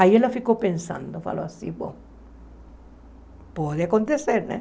Aí ela ficou pensando, falou assim, bom, pode acontecer, né?